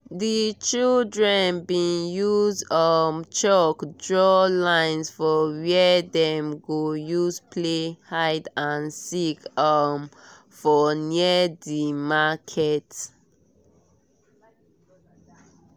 di children been use um chalk draw line for where dem go use play hide and seek um for near di market